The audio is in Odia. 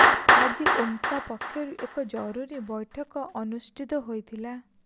ଆଜି ଓମ୍ସା ପକ୍ଷରୁ ଏକ ଜରୁରୀ ବୈଠକ ଅନୁଷ୍ଠିତ ହୋଇଥିଲା